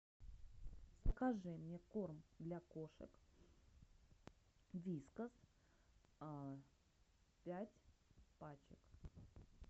закажи мне корм для кошек вискас пять пачек